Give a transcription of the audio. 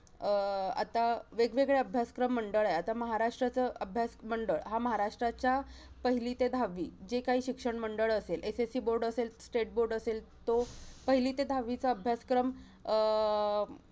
अं आता वेगवेगळे अभ्यासक्रम मंडळ आहे. आता महाराष्ट्राचं अभ्यास मंडळ हा महाराष्ट्राच्या पहिली ते दहावी, जे काही शिक्षण मंडळ असेल. SSC board असेल state board असेल, तो पहिली ते दहावीचा अभ्यासक्रम अं